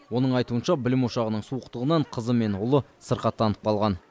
оның айтуынша білім ошағының суықтығынан қызы мен ұлы сырқаттанып қалған